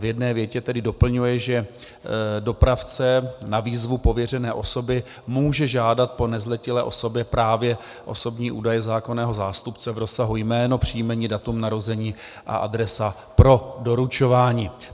V jedné větě tedy doplňuje, že dopravce na výzvu pověřené osoby může žádat po nezletilé osobě právě osobní údaje zákonného zástupce v rozsahu jméno, příjmení, datum narození a adresa pro doručování.